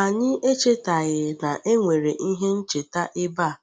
Anyị echetaghị na e nwere ihe ncheta ebe a,